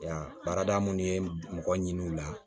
Ya baarada mun ye mɔgɔ ɲini o la